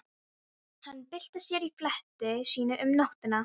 Hann bylti sér í fleti sínu um nóttina.